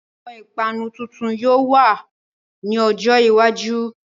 Àwọn ìpanu tuntun yóò wá ní ọjọ́ iwájú